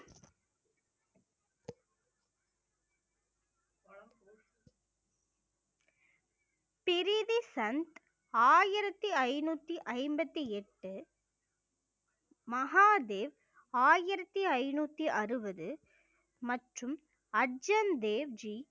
திரிதி சந்த் ஆயிரத்தி ஐந்நூத்தி ஐம்பத்தி எட்டு மகாதேவ் ஆயிரத்தி ஐந்நூத்தி அறுபது மற்றும் அர்ஜன் தேவ்ஜி